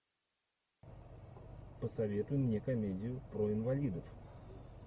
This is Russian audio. посоветуй мне комедию про инвалидов